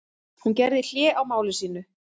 Hún gerði hlé á máli sínu.